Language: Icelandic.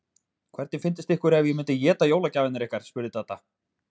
Hvernig fyndist ykkur ef ég myndi éta jólagjafirnar ykkar? spurði Dadda.